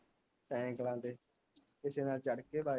ਸਾਈਕਲਾ ਤੇ ਕਿਸੇ ਨਾਲ ਚੜ੍ਹ ਕੇ